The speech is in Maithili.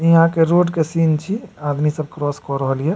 इ यहाँ के रोड के सीन छी आदमी सब क्रोस क रहल या।